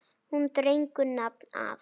Hún dregur nafn af